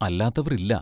അല്ലാത്തവർ ഇല്ല.